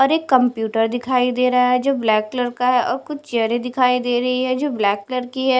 और एक कंप्यूटर दिखाई दे रहा है जो ब्लैक कलर का है और कुछ चेयरें दिखाई दे रही है जो ब्लैक कलर की है।